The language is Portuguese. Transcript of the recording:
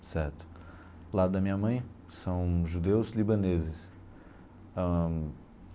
Certo, do lado da minha mãe, são judeus libaneses ãh.